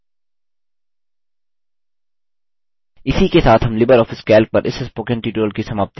इसी के साथ हम लिबर ऑफिस calc पर इस spoken tutorial की समाप्ति की ओर आ गये हैं